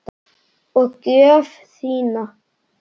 Og gjöf þína.